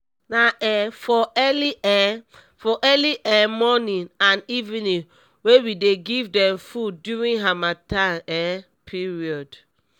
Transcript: na um for early um for early um morning and evening we dey give dem food during harmattan um period